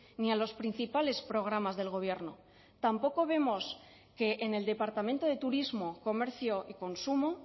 ni a los principales programas del gobierno tampoco vemos que en el departamento de turismo comercio y consumo